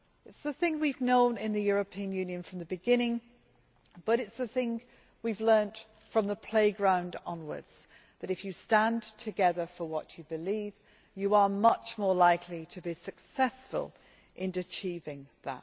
It is the thing we have known in the European Union from the beginning, but it is the thing that we have learnt from the playground onwards that if you stand together for what you believe, you are much more likely to be successful in achieving it.